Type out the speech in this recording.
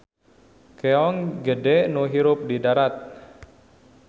Keong gede nu hirup di darat.